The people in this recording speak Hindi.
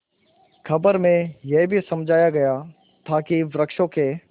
खबर में यह भी समझाया गया था कि वृक्षों के